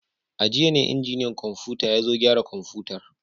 A jiya ne injiniyan kwamfuta ya zo gyara kwamfutar.